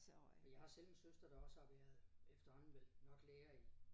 Men jeg har også selv en søster der også har været efterhånden vel nok lærer i